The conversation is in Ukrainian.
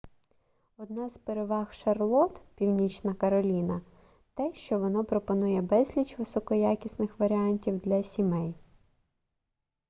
одна з переваг шарлотт північна кароліна те що воно пропонує безліч високоякісних варіантів для сімей